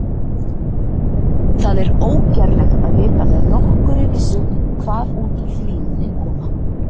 Það er ógerlegt að vita með nokkurri vissu hvað út úr því muni koma.